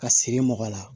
Ka siri mɔgɔ la